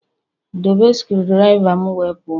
Dobe screwdriver m wee pụọ!